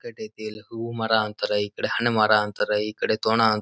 ಇಕ್ಕಟ್ ಐತಿ ಇಲ್ಲಿ ಹೂವು ಮರ ಅಂತಾರೆ ಈ ಕಡೆ ಹಣ್ಣ ಮರ ಅಂತಾರೆ ಈ ಕಡೆ ತೋನ--